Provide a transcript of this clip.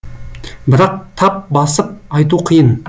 бірақ тап басып айту қиын